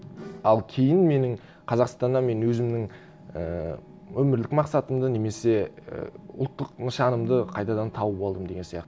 ал кейін менің қазақстанда мен өзімнің ііі өмірлік мақсатымды немесе і ұлттық нышанымды қайтадан тауып алдым деген